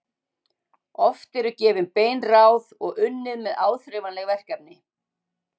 Oft eru gefin bein ráð og unnið með áþreifanleg verkefni.